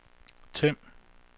Them